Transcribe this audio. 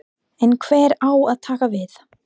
En hver á að taka við?